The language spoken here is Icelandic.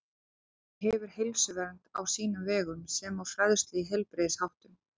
Það hefur heilsuvernd á sínum vegum sem og fræðslu í heilbrigðisháttum.